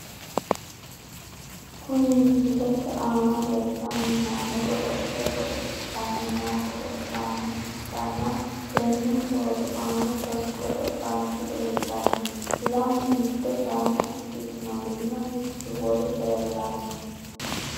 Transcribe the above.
Kuni misilete aana leellanni noohu gode'le godo'litanni noo godo'laano ikkitanna , tenne footo aana sasu godo'laanchi leeltanno , lamu mitte gaamo ikkitinorinna mittu wolu leellanno.